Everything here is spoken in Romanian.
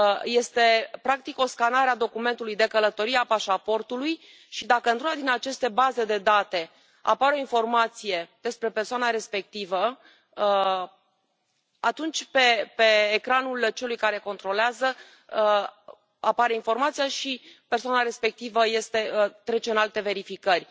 Este, practic, o scanare a documentului de călătorie, a pașaportului și, dacă într-una din aceste baze de date apare o informație despre persoana respectivă, atunci pe ecranul celui care controlează apare informația și persoana respectivă trece în alte verificări.